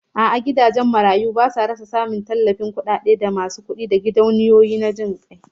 A'a, gidajen marayu basa rasa samun kudaden tallafin daga masu kudi da gidauniyoyin jin kai